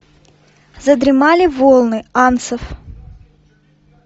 задремали волны анцев